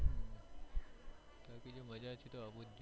બીજું મજ્જા છે તો આવુજ જોયે